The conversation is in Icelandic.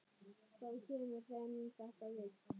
Hvað kemur þeim þetta við?